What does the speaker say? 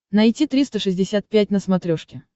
найти триста шестьдесят пять на смотрешке